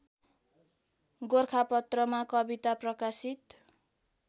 गोरखापत्रमा कविता प्रकाशित